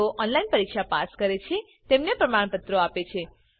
જેઓ ઓનલાઈન પરીક્ષા પાસ કરે છે તેઓને પ્રમાણપત્રો આપે છે